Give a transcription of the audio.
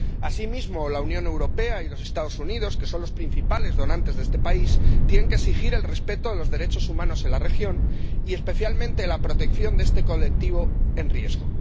Asimismo, la Unión Europea y los Estados Unidos, que son los principales donantes de este país, tienen que exigir el respeto a los derechos humanos en la región y especialmente la protección de este colectivo en riesgo.